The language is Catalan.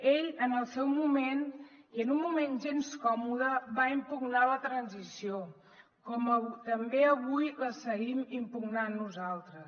ell en el seu moment i en un moment gens còmode va impugnar la transició com també avui la seguim impugnant nosaltres